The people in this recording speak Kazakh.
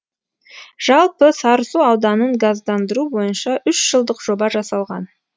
жалпы сарысу ауданын газдандыру бойынша үш жылдық жоба жасалған